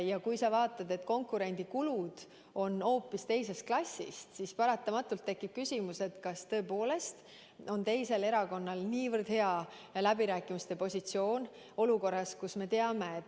Ja kui sa näed, et konkurendi kulud on hoopis teisest klassist, siis paratamatult tekib küsimus, kas tõepoolest on teisel erakonnal nii hea läbirääkimiste positsioon.